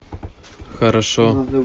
хорошо